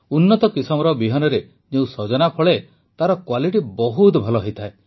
ଉନ୍ନତ କିସମର ବିହନରେ ଯେଉଁ ସଜନା ଫଳେ ତାର କ୍ୱାଲିଟି ବହୁତ ଭଲ ହୋଇଥାଏ